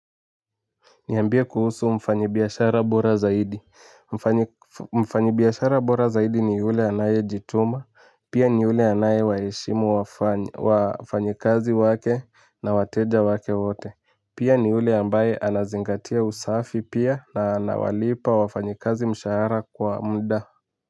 Niambie kuhusu mfanyibiashara bora zaidi, mfanyibiashara bora zaidi ni ule anaye jituma, pia ni ule anayewaheshimu wafanyikazi wake na wateja wake wote, pia ni ule ambaye anazingatia usafi pia na anawalipa wafanyikazi mshahara kwa mda.